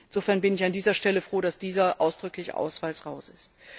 Insofern bin ich an dieser Stelle froh, dass dieser ausdrückliche Hinweis raus ist.